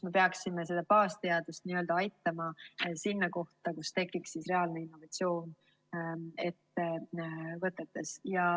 Me peaksime baasteadust n‑ö aitama nii, et tekiks reaalne innovatsioon ettevõtetes.